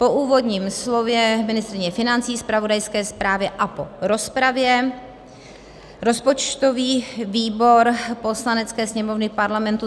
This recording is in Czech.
Po úvodním slově ministryně financí, zpravodajské zprávě a po rozpravě rozpočtový výbor Poslanecké sněmovny Parlamentu